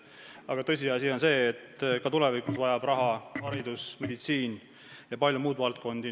Aga tõsiasi on see, et ka tulevikus vajab raha haridus, meditsiin ja palju muid valdkondi.